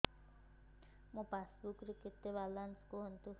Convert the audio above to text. ମୋ ପାସବୁକ୍ ରେ କେତେ ବାଲାନ୍ସ କୁହନ୍ତୁ